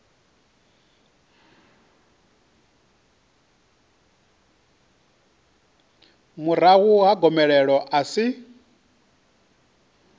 murahu ha gomelelo a si